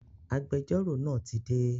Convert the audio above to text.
Agbẹjọ́rò náà ti dé